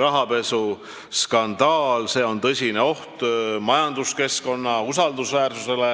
rahapesuskandaali, mis on tõsine oht majanduskeskkonna usaldusväärsusele.